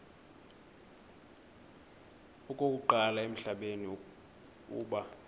okokuqala emhlabeni uba